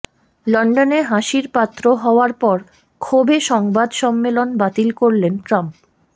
লন্ডনে হাসির পাত্র হওয়ার পর ক্ষোভে সংবাদ সম্মেলন বাতিল করলেন ট্রাম্প